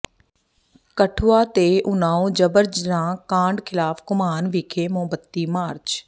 ਕਠੂਆ ਤੇ ਉਨਾਓ ਜਬਰ ਜਨਾਹ ਕਾਂਡ ਿਖ਼ਲਾਫ਼ ਘੁਮਾਣ ਵਿਖੇ ਮੋਮਬੱਤੀ ਮਾਰਚ